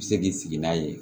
Bɛ se k'i sigi n'a ye